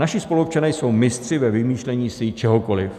Naši spoluobčané jsou mistři ve vymýšlení si čehokoliv.